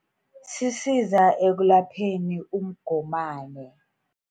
Sisiza ekulapheni umgomani.